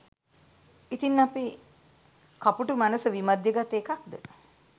ඉතින් අපේ කපුටු මනස විමධ්‍යගත එකක්ද